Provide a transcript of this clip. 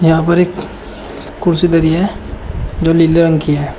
यहां पर एक कुर्सी धरी है जो नीले रंग की है।